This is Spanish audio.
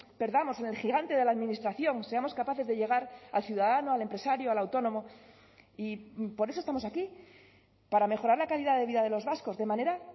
perdamos en el gigante de la administración seamos capaces de llegar al ciudadano al empresario al autónomo y por eso estamos aquí para mejorar la calidad de vida de los vascos de manera